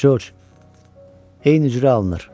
Corc, eyni cürə alınır.